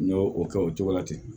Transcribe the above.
N y'o o kɛ o cogo la ten